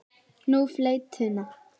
Nú, fleytuna.